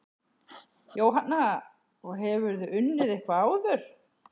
Jóhanna: Og hefurðu unnið eitthvað áður?